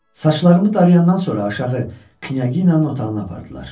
Saçlarımı darayandan sonra aşağı Knyaginya'nın otağına apardılar.